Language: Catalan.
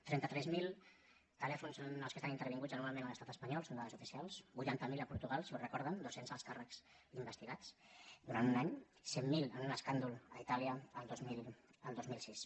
trenta tres mil telèfons són els que estan intervinguts anualment a l’estat espanyol són dades oficials vuitanta miler a portugal si ho recorden dos cents alts càrrecs investigats durant un any cent miler en un escàndol a itàlia el dos mil sis